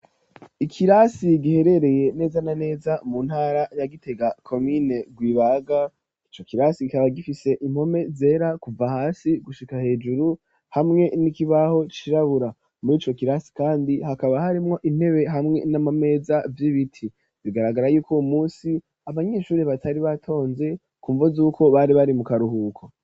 Ikirasi giherereye neza na neza mu ntara ya Kitega komine Rwibaga ico kirasi kikaba gifise impome zera kuva hasi gushika hejuru hamwe n'ikibaho cirabura murico kirasi kandi hakaba harimwo intebe hamwe n'amameza vy'ibiti bigaragara yuko uwo musi abanyeshuri batari batonze kumva zuko bari bari mu karuhuko.